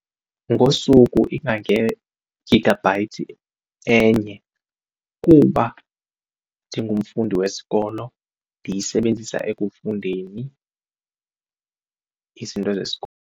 Ngosuku ingange-gigabyte enye kuba ndingumfundi wesikolo, ndiyisebenzisa ekufundeni izinto zesikolo.